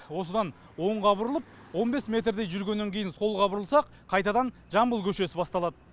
осыдан оңға бұрылып он бес метрдей жүргеннен кейін солға бұрылсақ қайтадан жамбыл көшесі басталады